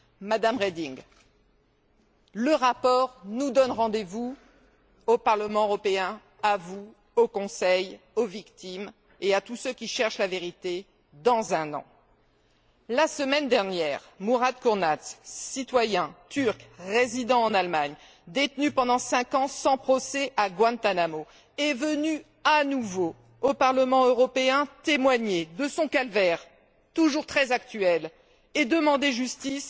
Madame Reding, le rapport nous donne rendez vous au Parlement européen, à vous, au Conseil, aux victimes et à tous ceux qui cherchent la vérité, dans un an. La semaine dernière, Murat Kurnaz, citoyen turc résidant en Allemagne, détenu pendant cinq ans sans procès à Guantanamo, est venu à nouveau au Parlement européen témoigner de son calvaire, toujours très actuel, et demander justice